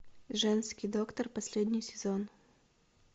женский доктор последний сезон